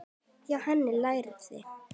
Hjá henni lærði